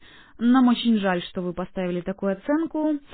нам очень жаль что вы поставили такую оценку